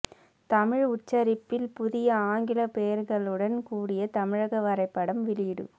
தமிழ் உச்சரிப்பில் புதிய ஆங்கில பெயர்களுடன் கூடிய தமிழக வரைபடம் வெளியீடு